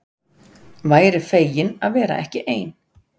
Væri fegin að vera ekki ein.